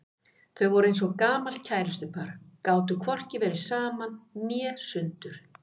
Þau voru eins og gamalt kærustupar, gátu hvorki verið saman né sundur.